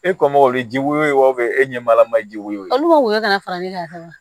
E kɔngɔ bɛ ji woyo wa e ɲɛ malama jiko ka woyɔ ka fara ne ka wa